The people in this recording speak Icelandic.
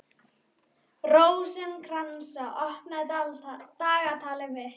Hvað er hún þá að abbast upp á mig?